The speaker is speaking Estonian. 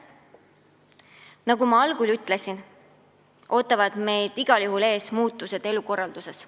Nagu ma algul ütlesin, meid ootavad igal juhul ees muutused elukorralduses.